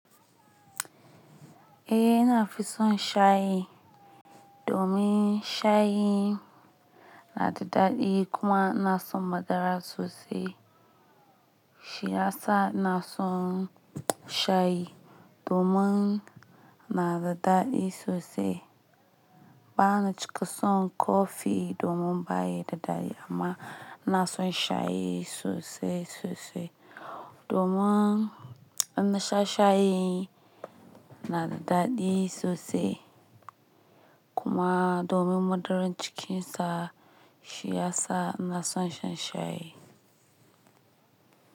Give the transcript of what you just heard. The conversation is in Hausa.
Eh na fi son shayi domin shayi na da daɗi kuma ina son madara sosai. Shi tasa na son shayi domin na da daɗi sosai. Bana cika son kofi domin ba ya da daɗi amma ina son shayi sosai sosai. Domin in na sha shayi na da daɗi sosai kuma domin madarar cikinsa shi ya sa na son shan shayi.